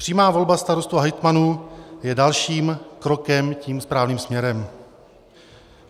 Přímá volba starostů a hejtmanů je dalším krokem tím správným směrem.